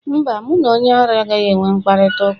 Mba, mụ na onye ara anaghị enwe mkparịta ụka.